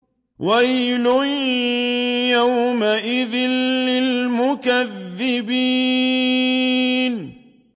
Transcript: وَيْلٌ يَوْمَئِذٍ لِّلْمُكَذِّبِينَ